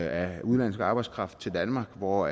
af udenlandsk arbejdskraft til danmark hvor